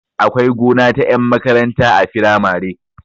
Akwai gona ta ƴan makaranta a firamare